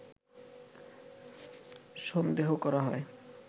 সন্দেহ করা হয়